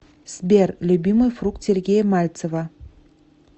сбер любимый фрукт сергея мальцева